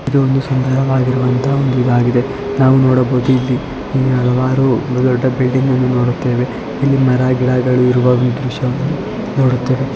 ಇದು ಒಂದು ಸುಂದರವಾಗಿರುವ ಅಂತ ಇದು ಹಾಗಿದೆ ನಾವು ನೋಡಬಹುದು ಇಲ್ಲಿ ಹಲವಾರು ದೊಡ್ಡ ಬಿಲ್ಡಿಂಗ್ ಗಳು ನೋಡುತ್ತೇವೆ ಇಲ್ಲಿ ಮರ ಗಿಡಗಳು ಇರುವ ದೃಶ್ಯವನ್ನು ನೋಡುತ್ತೇವೆ .